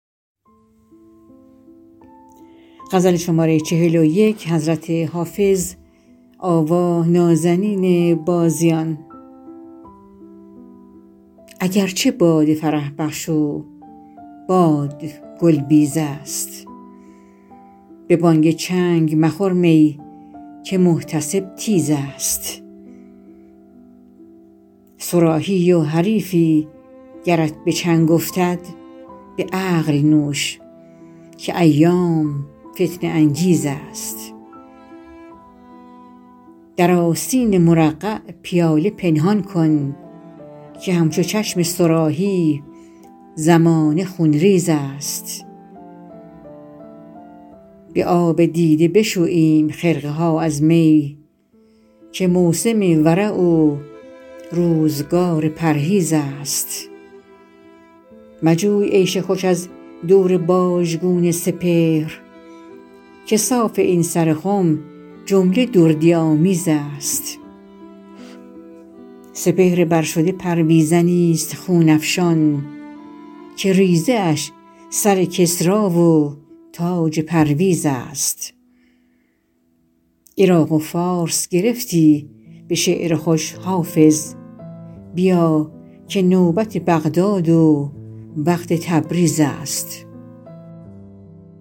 اگر چه باده فرح بخش و باد گل بیز است به بانگ چنگ مخور می که محتسب تیز است صراحی ای و حریفی گرت به چنگ افتد به عقل نوش که ایام فتنه انگیز است در آستین مرقع پیاله پنهان کن که همچو چشم صراحی زمانه خونریز است به آب دیده بشوییم خرقه ها از می که موسم ورع و روزگار پرهیز است مجوی عیش خوش از دور باژگون سپهر که صاف این سر خم جمله دردی آمیز است سپهر بر شده پرویزنی ست خون افشان که ریزه اش سر کسری و تاج پرویز است عراق و فارس گرفتی به شعر خوش حافظ بیا که نوبت بغداد و وقت تبریز است